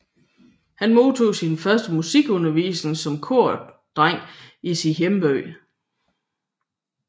Han modtog sin første musikundervisning som kordreng i sin hjemby